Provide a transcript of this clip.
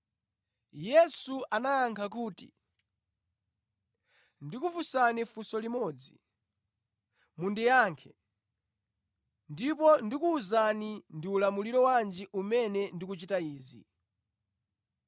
Yesu anayankha kuti, “Ndikufunsani funso limodzi. Mundiyankhe, ndipo ndikuwuzani ndi ulamuliro wanji umene ndikuchitira izi.